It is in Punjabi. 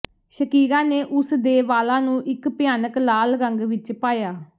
ਸ਼ਕੀਰਾ ਨੇ ਉਸ ਦੇ ਵਾਲਾਂ ਨੂੰ ਇਕ ਭਿਆਨਕ ਲਾਲ ਰੰਗ ਵਿਚ ਪਾਇਆ